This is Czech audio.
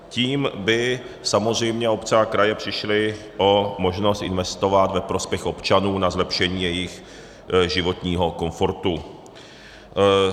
Tím by samozřejmě obce a kraje přišly o možnost investovat ve prospěch občanů na zlepšení jejich životního komfortu.